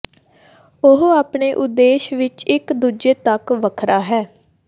ਉਹ ਆਪਣੇ ਉਦੇਸ਼ ਵਿਚ ਇਕ ਦੂਜੇ ਤੱਕ ਵੱਖਰਾ ਹੈ